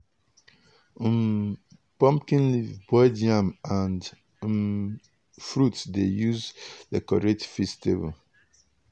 um pumpkin leaf boiled yam and um fruit dey use decorate feast table.